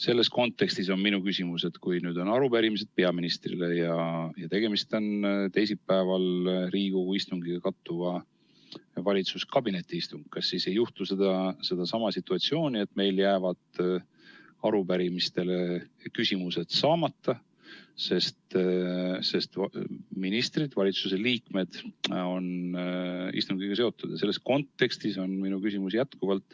Selles kontekstis on minu küsimus, et kui nüüd on arupärimised peaministrile ja tegemist on teisipäeval Riigikogu istungiga kattuva valitsuskabineti istungiga, kas siis ei teki seesama situatsioon, et meil jäävad arupärimistele vastused saamata, sest ministrid, valitsuse liikmed, on istungiga seotud.